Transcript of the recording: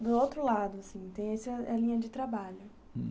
E, do outro lado, assim, tem essa linha de trabalho. Hum.